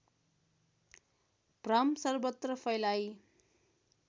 भ्रम सर्वत्र फैलाई